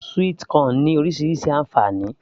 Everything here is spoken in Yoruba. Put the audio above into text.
sweet corn ní orísirísi ànfàní